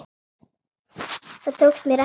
Það tókst mér ekki.